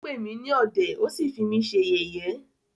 Ó pè mí ní ọ̀dẹ̀,ó sí fí mí ṣe yẹ̀yé.